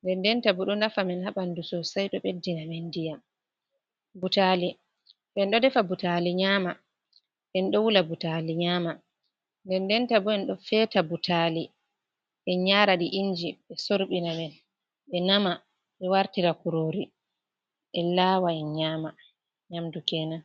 ndenndenta bo ɗo nafa men ha ɓanndu soosey ɗo ɓeddina men ndiyam. Butaali, en ɗo defa butaali nyaama, en ɗo wula butaali nyaama, ndenndenta bo en ɗo feeta butaali en yaara ɗi inji ɓe sorɓina men, ɓe nama, ɓe wartira kurori en laawa, en nyama, nyamdu keenan.